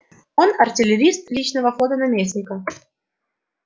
он артиллерист личного флота наместника